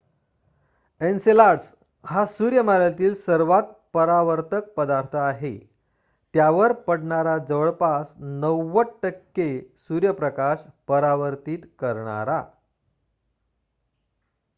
Enceladus हा सूर्यमालेतील सर्वात परावर्तक पदार्थ आहे त्यावर पडणारा जवळपास 90% सूर्यप्रकाश परावर्तित करणारा